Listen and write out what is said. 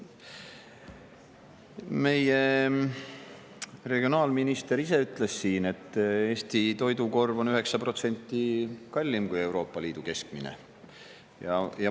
Meie regionaalminister ise ütles siin, et Eesti toidukorv on 9% kallim kui Euroopa Liidu keskmine.